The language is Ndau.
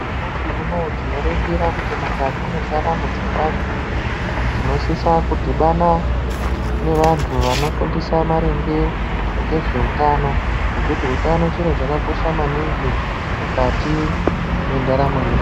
Nyamashi unou tinoringira mukati mwendaramo dzevantu tinosisa kudhibana nevantu vanofundisa maringe ngezveutano ngekuti utano chiro chakakosha maningi mukati mwendaramo yevantu.